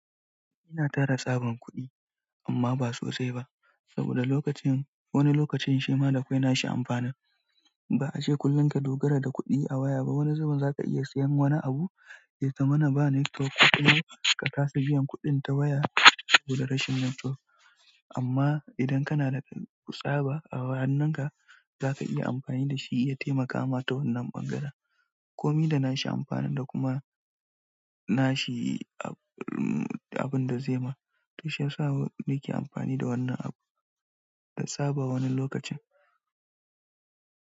Ina tara sabon kuɗi amma ba sossai ba saboda wani lokacin shima akwao na shi amfanin ba ace kullum ka dogara da kuɗi a waya ba. Wani zubin zaka iya sayan wani abu ya zama na ba netiwok, ko kuma ka kasa biyan kuɗin ta waya saboda rashin netiwok. Amma idan kana da tsaba a hannun ka zaka iya amfani da shi ya taimakama ta wannan ɓangaren. Komi da nashi amfani da kuma nashi abin da zai ma, to shi yasa nake amfani da wannan abu da tsaba wani lokacin.